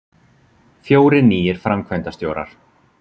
Fjórir nýir framkvæmdastjórar